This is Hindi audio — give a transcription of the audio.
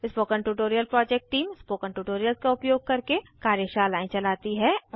spoken tutorial project team spoken tutorials का उपयोग करके कार्यशालाएं चलाती है